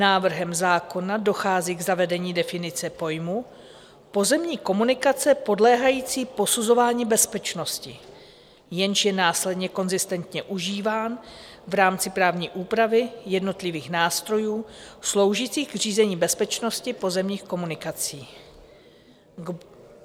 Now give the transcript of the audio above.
Návrhem zákona dochází k zavedení definice pojmu pozemní komunikace podléhající posuzování bezpečnosti, jenž je následně konzistentně užíván v rámci právní úpravy jednotlivých nástrojů sloužících k řízení bezpečnosti pozemních komunikací.